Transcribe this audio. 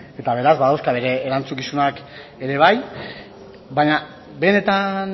eta beraz badauzka bere erantzukizunak ere bai baina benetan